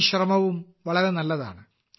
ഈ ശ്രമവും വളരെ നല്ലതാണ്